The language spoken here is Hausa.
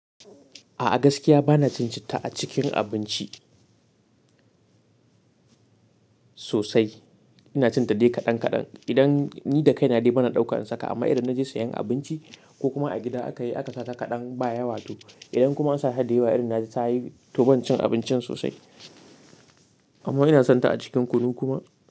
A'a gaskiya bana cin citta a cikin abinci sosai. Ina cin tadai kadan kadan. Idan ni da kai na dai bana ɗauka in saka amma idan na je siyan abinci ko kuma a gida aka yi aka sa ta kadan ba yawa too. Idan kuma an sa hadayawa irin na ta yi, to ban cin abincin sosai. Amma ina son ta a cikin kunu kuma.